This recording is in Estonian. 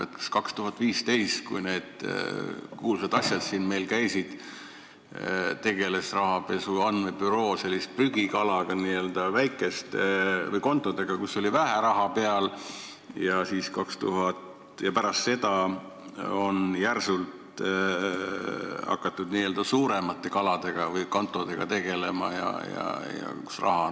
Kas 2015, kui need kuulsad asjad meil siin toimusid, tegeles rahapesu andmebüroo selliste prügikaladega, väikeste kontodega, kus oli vähe raha peal, ja pärast seda on järsult hakatud tegelema siis n-ö suuremate kaladega või kontodega, kus on rohkem raha peal?